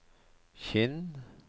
Kinn